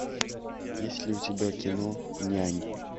есть ли у тебя кино нянь